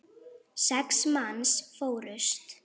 Sex manns fórust.